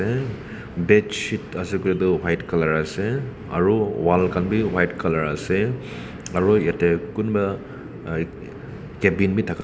bedsheet ase koilae tu white colour ase aru wall khan bi white colour ase aru yate kunba cabin bi thaka--